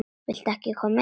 Viltu ekki koma inn?